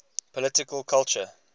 political culture